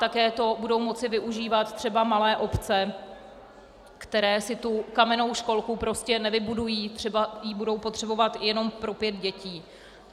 Také to budou moci využívat třeba malé obce, které si tu kamennou školku prostě nevybudují - třeba ji budou potřebovat jenom pro pět dětí.